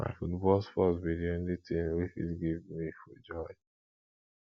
na football sports be di only thing wey fit give me full joy